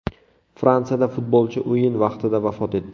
Fransiyada futbolchi o‘yin vaqtida vafot etdi.